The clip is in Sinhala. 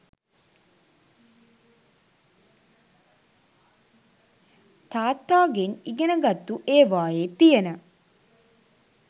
තාත්තා ගෙන් ඉගෙනගත්තු ඒවායේ තියන